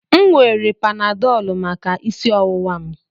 M were panadolu maka isi ọwụwa m.